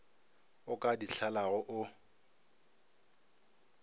o ka di lahlago o